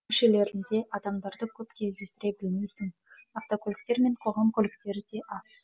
көшелерінде адамдарды көп кездестіре білмейсің автокөліктер мен қоғам көліктері де аз